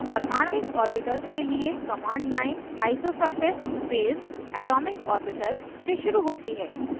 परमाण्विक orbitals के लिए command line isosurface phase atomicorbital से शुरू होती है